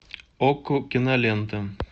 окко кинолента